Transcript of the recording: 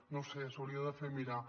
no ho sé s’ho hauria de fer mirar